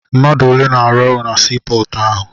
Mmadụ ole na-arụ na sii pọọtụ ahụ?